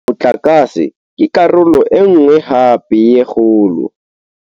Motlakase ke karolo e nngwe hape ya kgolo.